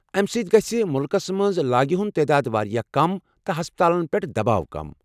امہ سۭتۍ گژھہِ مُلکس منٛز لاگہِ ہُند تعداد واریاہ کم تہٕ ہسپتالن پٮ۪ٹھ دباو کم ۔